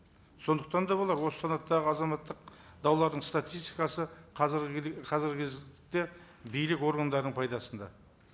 сондықтан да болар осы санаттағы азаматтық даулардың статистикасы қазіргі қазіргі кезде билік органдарының пайдасында